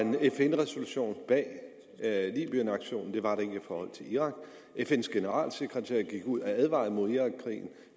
en fn resolution bag libyenaktionen det var der ikke i forhold til irak fn’s generalsekretær gik ud og advarede mod irakkrigen